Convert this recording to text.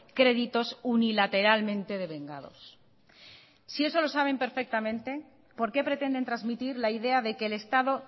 créditos unilateralmente devengados si eso lo saben perfectamente por qué pretenden transmitir la idea de que el estado